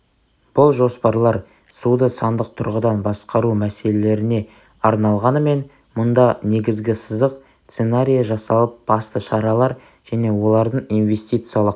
бұл жоспарлар суды сандық тұрғыдан басқару мәселелеріне арналғанымен мұнда негізгі сызық сценарийі жасалып басты шаралар және олардың инвестициялық